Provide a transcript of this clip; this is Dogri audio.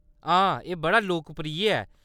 हां, एह्‌‌ बड़ा लोकप्रिय ऐ।